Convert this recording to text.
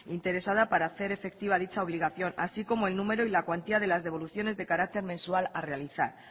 interesada para hacer efectiva dicha obligación así como el número y la cuantía de las devoluciones de carácter mensual a realizar